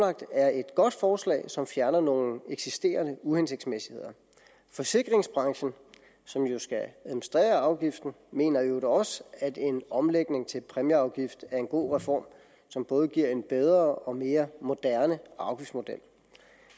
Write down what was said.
er et godt forslag som fjerner nogle eksisterende uhensigtsmæssigheder forsikringsbranchen som jo skal administrere afgiften mener i øvrigt også at en omlægning til præmieafgift er en god reform som både giver en bedre og mere moderne afgiftsmodel